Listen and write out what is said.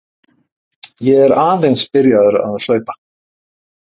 Ég er aðeins byrjaður að hlaupa.